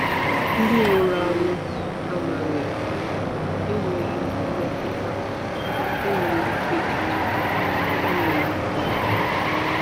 Ndị nwụrụ anwụ amaghị, enweghị mmetụta, enweghị echiche. enweghị echiche.